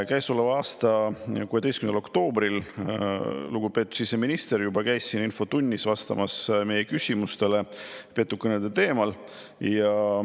Käesoleva aasta 16. oktoobril lugupeetud siseminister käis siin infotunnis vastamas meie küsimustele petukõnede teemal.